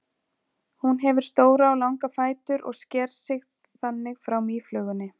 Hún hefur stóra og langa fætur og sker sig þannig frá mýflugunni.